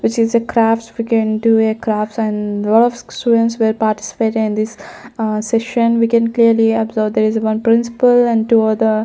which is a craft we can do a crafts and lot of students were participate in this a session we can clearly observe there is one principle and two are the--